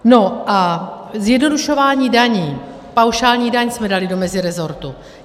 No a zjednodušování daní, paušální daň, jsme dali do mezirezortu.